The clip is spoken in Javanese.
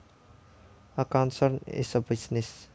A concern is a business